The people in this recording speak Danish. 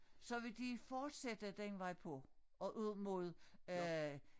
Så vil de fortsætte den vej på og ud mod øh